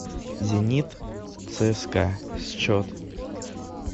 зенит цска счет